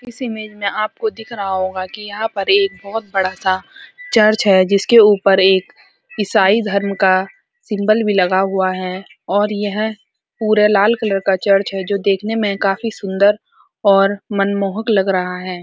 इस इमेज में आपको दिख रहा होगा कि यहाँ पर एक बहुत बड़ा सा चर्च है जिसके ऊपर एक ईसाई धर्म का सिंबल भी लगा हुआ है और यह पूरे लाल कलर का चर्च है जो देखने में काफी सूंदर और मनमोहक लग रहा है।